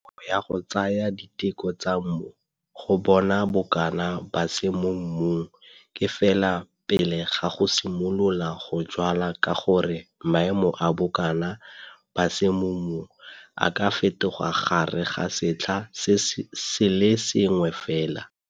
Nako ya go tsaya diteko tsa mmu go bona bokana ba S mo mmung ke fela pele ga go simolola go jwala ka gore maemo a bokana ba S mo mmung a ka fetoga gare ga setlha se le sengwe fela.